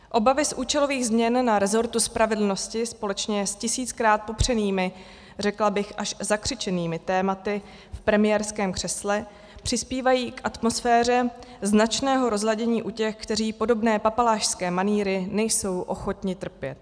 Obavy z účelových změn na resortu spravedlnosti společně s tisíckrát popřenými, řekla bych až zakřičenými tématy, v premiérském křesle přispívají k atmosféře značného rozladění u těch, kteří podobné papalášské manýry nejsou ochotni trpět.